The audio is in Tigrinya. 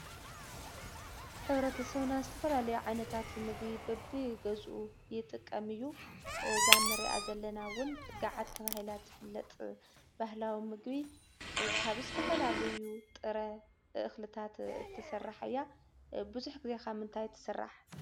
ሕ/ሰብና ዝተፈላለዩ ዓይነታት ምግቢ በቢገዝኡ ይጥቀም እዩ፡፡ እዛ እንሪኣ ዘለና እውን ጋዓት ተባሂላ እትፍለጥ ባህላዊ ምግቢ ካብ ዝተፈላለዩ ጥረ እክልታት እትስራሕ እያ፡፡ ብዙሕ ግዜ ካብ ምንታይ ትስራሕ?